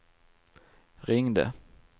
ringde